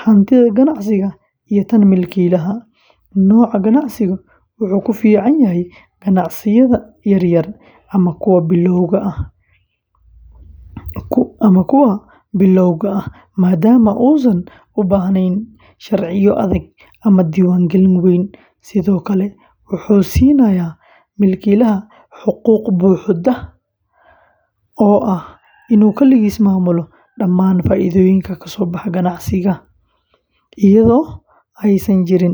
hantida ganacsiga iyo tan milkiilaha; noocan ganacsigu wuxuu ku fiican yahay ganacsiyada yaryar ama kuwa bilowga ah, maadaama uusan u baahnayn sharciyo adag ama diiwaangelin weyn, sidoo kale wuxuu siinayaa milkiilaha xuquuq buuxda oo ah inuu kaligiis maamulo dhammaan faa’iidooyinka kasoo baxa ganacsiga, iyadoo aysan jirin cid kale.